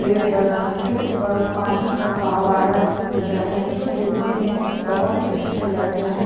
पेड़ बना उसके ऊपर पानी का पहवारा गिर रहा है जो दिखने में बहुत ही अच्छे लग रहे है।